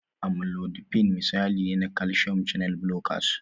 Amlodipine misali ne na calcium channel blockers.